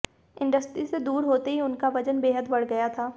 industry से दूर होते ही उनका वजन बेहद बढ़ गया था